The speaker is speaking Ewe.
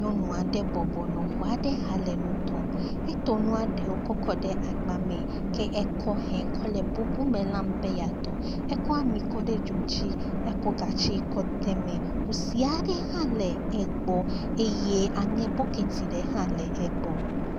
Nyɔnu aɖe bɔbɔnɔ xɔ aɖe xa le nu tɔm. Etɔ nua ɖewo kɔ kɔ ɖe agba me ke ekɔ hɛ kɔ le bubu me lam be yeatɔ. Ekɔ ami kɔ kɔ ɖe dzo dzi. Ekɔ gatsi kɔ de eme. Kusi aɖe hã le egbɔ eye aŋe bɔketi aɖe hã le egbɔ.